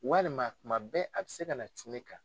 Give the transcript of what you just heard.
Walima tuma bɛɛ a bɛ se ka na jun ne kan.